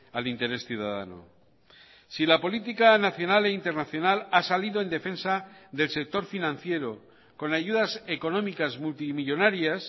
al interés ciudadano si la política nacional e internacional ha salido en defensa del sector financiero con ayudas económicas multimillónarias